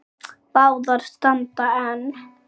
Báðar standa enn.